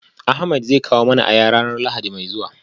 Ahmed zai kawo mana aya ranar lahadi mai zuwa